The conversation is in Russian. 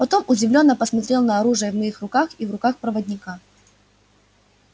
потом удивлённо посмотрел на оружие в моих руках и в руках проводника